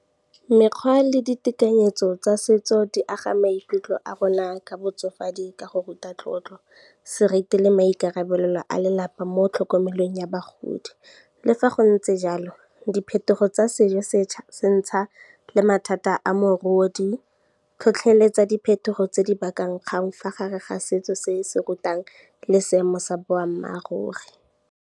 Mekgwa le ditekanyetso tsa setso di aga maikutlo a rona ka botsofadi ka go ruta tlotlo, seriti le maikarabelo a lelapa mo tlhokomelong ya bagodi, le fa go ntse jalo diphetogo tsa sejosetšha se ntsha le mathata a mogodi, tlhotlheletsa diphetogo tse di bakang kgang fa gare ga setso se se rutang le seemo sa boammaaruri.